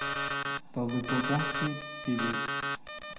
талдыкурганский певец